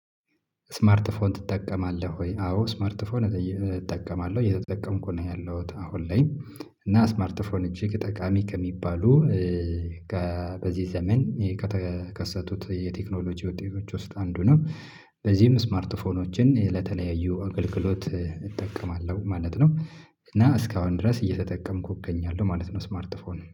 ስማርት ፎን ትጠቀማለህ ወይ? አዎ ስማርት ፎን እጠቀማለህ እየ የተጠቀምኩ ነው ያለሁት አሁን ላይ። እና ስማርት ፎን እጅግ ጠቃሚ ከሚባሉ። በዚህ ዘመን ከተከሰቱት የቴክኖሎጂ ወጤዎች ውስጥ አንዱ ነው። በዚህም ስማርት ፎኖችን ለተለያዩ አገልግሎት እጠቀማለሁ ማለት ነው። እና እስካሁን ድረስ እየተጠቀምኩ እገኛለሁ ማለት ነው። ስማርት ፎንን